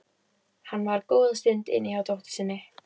Hann var góða stund inni hjá dóttur sinni.